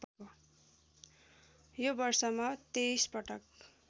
यो वर्षमा २३ पटक